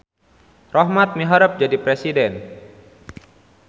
Rohmat miharep jadi presiden